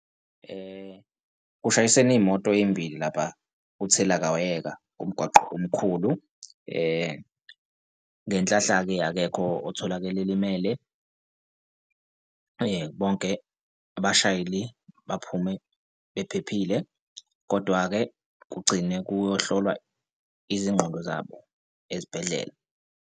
Kushayisene iy'moto ey'mbili lapha kuthelawayeka kumgwaqo omkhulu. Ngenhlahla-ke akekho otholakele elimele. Bonke abashayeli baphume bephephile, kodwa-ke kugcine kuyohlolwa izingqondo zabo ezibhedlela.